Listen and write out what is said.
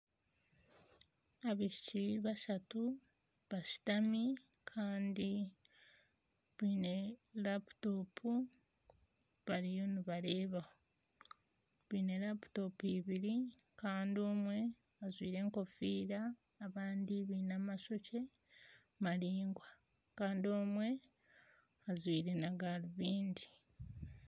Abaishiki bashatu bashitami kandi biine laputopu bariyo nibareebaho baine laputopu ibiri kandi omwe ajwaire enkofiira abandi baine amashokye maraingwa kandi omwe ajwaire n'agarubindi.